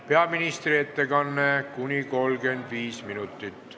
Peaministri ettekanne kestab kuni 35 minutit.